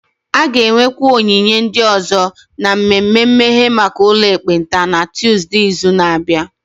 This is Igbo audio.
A ga-enwekwa onyinye ndị ọzọ na mmemme mmeghe maka ụlọ ekpenta na Tọzdee izu na-abịa